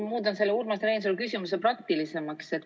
Ma muudan selle Urmas Reinsalu küsimuse praktilisemaks.